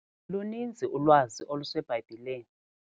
Luninzi ulwazi oluseBhayibhileni.